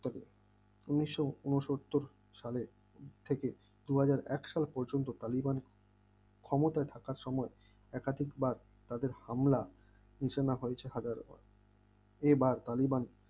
উন্নিশ ঊনসত্তর সালে থেকে দুহাজার এক সাল পর্যন্ত তালিবান ক্ষমতায় থাকা সময় একাধিক হামলা সূচনা হয়েছে খাদের ওপর এইবার তালিবান